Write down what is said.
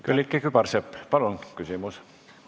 Külliki Kübarsepp, palun küsimus!